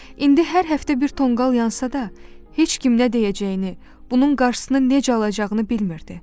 İndi hər həftə bir tonqal yansa da, heç kim nə deyəcəyini, bunun qarşısını necə alacağını bilmirdi.